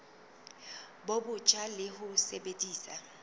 bo botjha le ho sebedisa